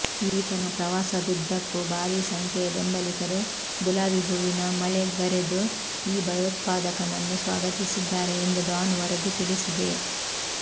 ಈತನ ಪ್ರವಾಸದುದ್ದಕ್ಕೂ ಭಾರೀ ಸಂಖ್ಯೆಯ ಬೆಂಬಲಿಗರು ಗುಲಾಬಿ ಹೂವಿನ ಮಳೆಗರೆದು ಈ ಭಯೋತ್ಪಾದಕನನ್ನು ಸ್ವಾಗತಿಸಿದ್ದಾರೆ ಎಂದು ಡಾನ್ ವರದಿ ತಿಳಿಸಿದೆ